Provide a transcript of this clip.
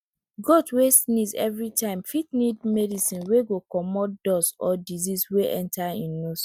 goat wey sneeze everytime fit need medicine wey go comot dust or disease wey enter e nose